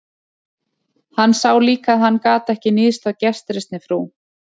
Hann sá líka að hann gat ekki níðst á gestrisni frú